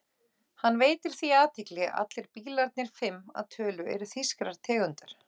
Hann veitir því athygli að allir bílarnir, fimm að tölu, eru þýskrar tegundar.